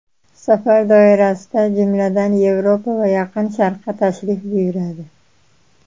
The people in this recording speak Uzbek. Safar doirasida, jumladan, Yevropa va Yaqin Sharqqa tashrif buyuradi.